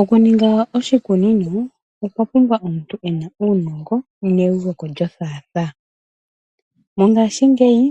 Okuninga oshikunino okwa pumbwa omuntu ena uunongo neuveko lyothaathaa. Mongashingeyi